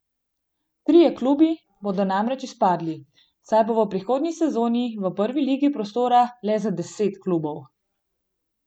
Trije klubi bodo namreč izpadli, saj bo v prihodnji sezoni v prvi ligi prostora le za deset klubov.